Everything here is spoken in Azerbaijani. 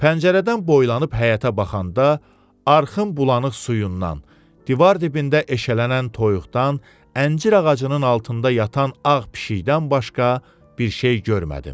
Pəncərədən boylanıb həyətə baxanda arxın bulanıq suyundan, divar dibində eşələnən toyuqdan, əncir ağacının altında yatan ağ pişikdən başqa bir şey görmədim.